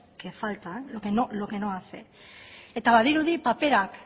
que falta es lo que no hace eta badirudi paperak